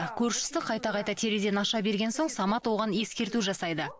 көршісі қайта қайта терезені аша берген соң самат оған ескерту жасайды